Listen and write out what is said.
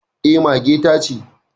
Eh mage ta ce